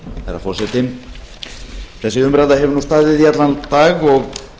herra forseti þessi umræða hefur nú staðið í allan dag og